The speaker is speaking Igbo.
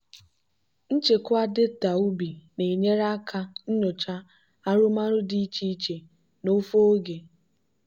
nchekwa data ubi na-enyere aka nyochaa arụmọrụ dị iche iche n'ofe oge.